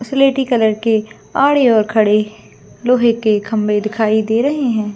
सिलेटी कलर के लोहे के खंबे दिखाई दे रहे है।